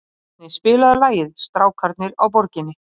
Forni, spilaðu lagið „Strákarnir á Borginni“.